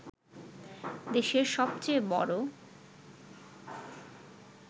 দেশের সবচেয়ে বড়